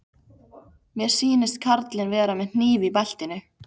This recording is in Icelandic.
Mér sýnist karlinn vera með hníf í beltinu.